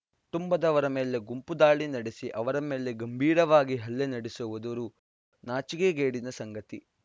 ಟುಂಬದವರ ಮೇಲೆ ಗುಂಪು ದಾಳಿ ನಡೆಸಿ ಅವರ ಮೇಲೆ ಗಂಭೀರವಾಗಿ ಹಲ್ಲೆ ನಡೆಸುವುದುರು ನಾಚಿಕೆಗೇಡಿನ ಸಂಗತಿ